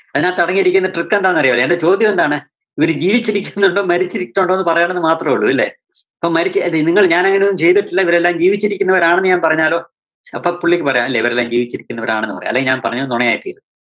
അതിനകത്തടങ്ങിയിരിക്കുന്ന trick എന്താന്നറിയോ? എന്‍ന്റെ ചോദ്യം എന്താണ്? ഇവര് ജീവിച്ചിരിക്കുന്നുണ്ടോ? മരിച്ചിരിക്കുന്നുണ്ടോ? പറയണമെന്ന് മാത്രമേ ഉള്ളൂ അല്ലേ. അപ്പോ മരിച്ച അതെ നിങ്ങൾ ഞാൻ അങ്ങനെയൊന്നും ചെയ്തിട്ടില്ല ഇവരെല്ലാം ജീവിച്ചിരിക്കുന്നവര് ആണെന്ന് ഞാൻ പറഞ്ഞാലോ? അപ്പോ പുള്ളിക്ക് പറയാം അല്ലേ ഇവരെല്ലാം ജീവിച്ചിരിക്കുന്നവരാണെന്ന് പറയാം അല്ലെങ്കിൽ ഞാൻ പറഞ്ഞത് നുണയായിത്തീരും.